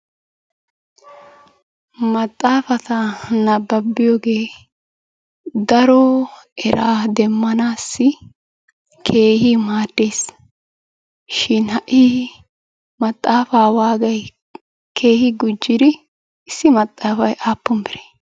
Maxxaafata nabbabbiyogee daro eraa demmanaassi keehi maaddesishin ha'i maxxaafaa waagay keehi gujjidi issi maxxaafay aappun biree?